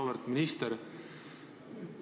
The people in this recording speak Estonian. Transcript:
Auväärt minister!